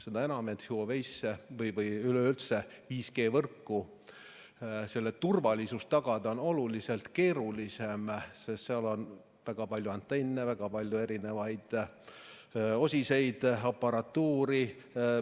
Seda enam, et Huawei või üleüldse 5G võrgu puhul on turvalisust tagada oluliselt keerulisem, sest seal on väga palju antenne, väga palju erinevaid osiseid, aparatuuri.